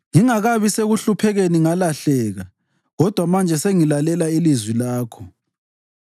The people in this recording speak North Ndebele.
Ngingakabi sekuhluphekeni ngalahleka, kodwa manje sengilalela ilizwi lakho.